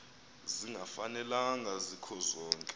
zingafanelana zikho zonke